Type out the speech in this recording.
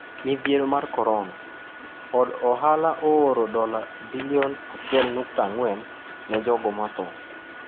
Midhiero mar korona: Od ohala ooro dola bilion 1.4 ne jogo matho